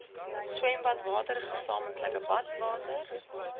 swembadwater gesamentlike badwater